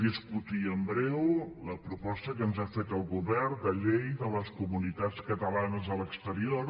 discutirem en breu la proposta que ens ha fet el govern de llei de les comunitats catalanes a l’exterior